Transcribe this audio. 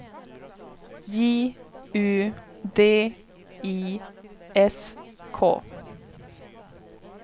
J U D I S K